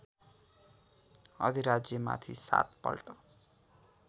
अधिराज्यमाथि सात पल्ट